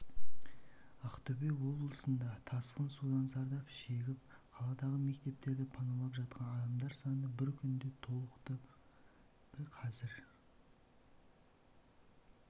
ақтөбе облысында тасқын судан зардап шегіп қаладағы мектептерді паналап жатқан адамдар саны бір күнде толықты қазір